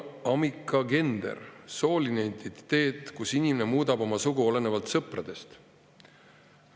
Amicagender – sooline identiteet, kus inimene muudab oma sugu olenevalt sõpradest.